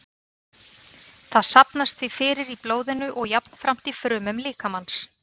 Það safnast því fyrir í blóðinu og jafnframt í frumum líkamans.